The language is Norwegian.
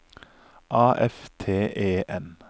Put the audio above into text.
A F T E N